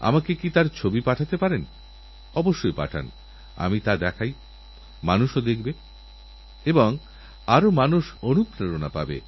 এই ভদ্রলোক কোন চিন্তাভাবনা না করেই শুধু একটিএসএমএসএর ভরসায় সারা জীবনের পরিশ্রমের উপার্জন দুলাখ টাকা একটি অপরিচিতমানুষকে পাঠিয়ে দিলেন